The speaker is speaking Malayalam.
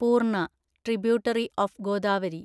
പൂർണ (ട്രിബ്യൂട്ടറി ഓഫ് ഗോദാവരി)